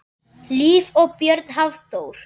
Hlíf og Björn Hafþór.